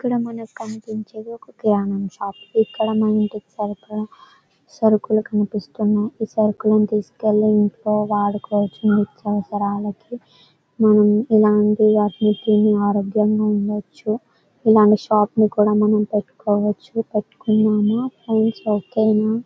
ఇక్కడ మనకి కనిపించేది ఒక గ్యం షాప్ ఇక్కడ మనకి సర్కలు సర్కలు కనిపిస్తున్నాయి. ఈ సర్కలు తీస్కొని వెళ్లి ఇంట్లో వాడుకోవచ్చు నిత్యావసరాలకి మనం ఇలాంటి ఆరోగ్యాంగా ఉండచ్చు ఇలాంటి షాప్ కూడా మనం పెట్టుకోవచ్చు పెట్టుకుందామా ఫ్రెండ్స్ ఓకే న.